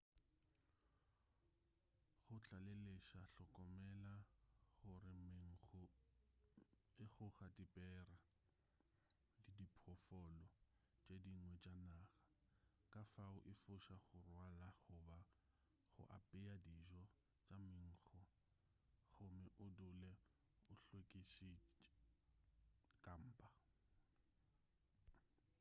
go tlaleletša hlokomela gore menkgo e goga dibera le diphoofolo tše dingwe tša naga kafao efoša go rwala goba go apea dijo tša menkgo gomme o dule o hlwekišitše kampa